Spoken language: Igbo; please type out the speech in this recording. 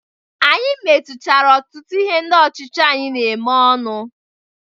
Anyị metuchara ọtụtu ihe ndị ọchịchị anyị na-eme ọnụ.